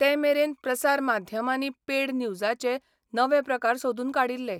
ते मेरेन प्रसार माध्यमांनी पेड न्यूजाचे नवे प्रकार सोदून काडिल्ले.